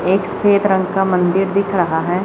एक सफेद रंग का मंदिर दिख रहा है।